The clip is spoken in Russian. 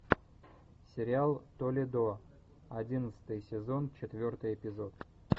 сериал толедо одиннадцатый сезон четвертый эпизод